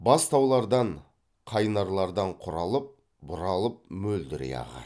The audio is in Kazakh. бастаулардан қайнарлардан құралып бұралып мөлдірей ағады